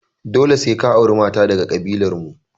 Dole sai ka auri mata daga daga ƙabilar mu!